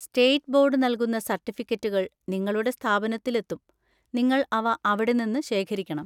State board നൽകുന്ന സർട്ടിഫിക്കറ്റുകൾ നിങ്ങളുടെ സ്ഥാപനത്തിൽ എത്തും, നിങ്ങൾ അവ അവിടെ നിന്ന് ശേഖരിക്കണം.